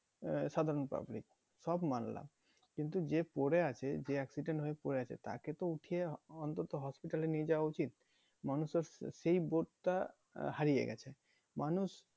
আহ সাধারণ public সব মানলাম কিন্তু যে পড়ে আছে যে accident হয়ে পড়ে আছে তাকে তো উঠিয়ে অন্তত hospital এ নিয়ে যাওয়া উচিত। মানুষের সেই বোধটা হারিয়ে গেছে মানুষ